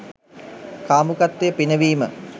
කාමුකත්වය පිනවීම